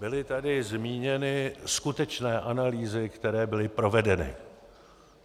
Byly tady zmíněny skutečné analýzy, které byly provedeny.